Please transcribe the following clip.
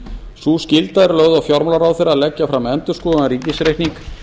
sú skylda er lögð á fjármálaráðherra að leggja fram endurskoðaðan ríkisreikning